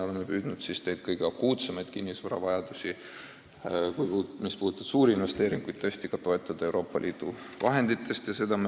Oleme püüdnud kõige akuutsemaid kinnisvaraprobleeme, mille lahendamine vajab suurinvesteeringuid, tõesti leevendada Euroopa Liidu vahendite abil.